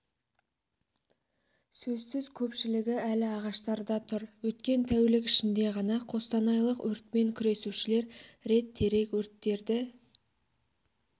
сөзсіз көпшілігі әлі ағаштарда тұр өткен тәулік ішінде ғана қостанайлық өртпен күресушілер рет терек өрттерді